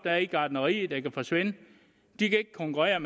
er i gartnerierne der kan forsvinde de kan ikke konkurrere